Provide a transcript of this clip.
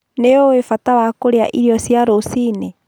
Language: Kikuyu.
Nĩũĩ bata wa kũrĩa irio cia rũciinĩ?